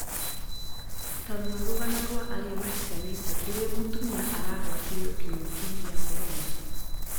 Tarora rũgano rwa arĩa mahikanĩtie kũrĩa mũtumia aragwatirio kïng'uki gĩa korona